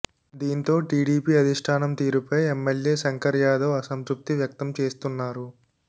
దీంతో టీడీపీ అధిష్టానం తీరుపై ఎమ్మెల్యే శంకర్ యాదవ్ అసంతృప్తి వ్యక్తం చేస్తున్నారు